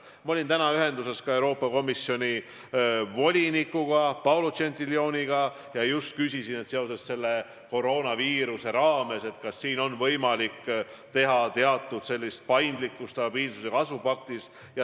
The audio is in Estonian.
Ma olin täna ühenduses Euroopa Komisjoni volinikuga Paolo Gentiloniga ja küsisin, kas seoses koroonaviirusega on võimalik stabiilsuse ja kasvu paktis ette näha suuremat paindlikkust.